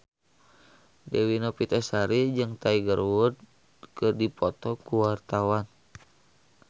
Dewi Novitasari jeung Tiger Wood keur dipoto ku wartawan